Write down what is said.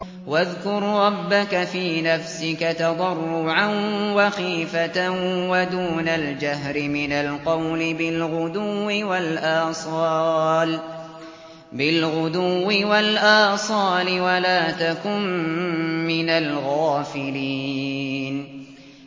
وَاذْكُر رَّبَّكَ فِي نَفْسِكَ تَضَرُّعًا وَخِيفَةً وَدُونَ الْجَهْرِ مِنَ الْقَوْلِ بِالْغُدُوِّ وَالْآصَالِ وَلَا تَكُن مِّنَ الْغَافِلِينَ